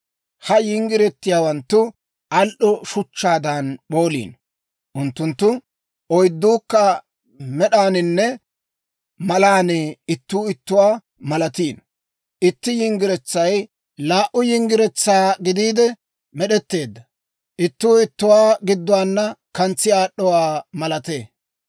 Ha yinggiretiyaawanttu al"o shuchchaadan p'ooliino; unttunttu oydduukka med'aaninne malaan ittuu ittuwaa malatiino. Itti yinggiretsay laa"u yinggiretsaa gidiide med'etteedda; ittuu ittuwaa gidduwaana kantsi aad'd'owaa malatee.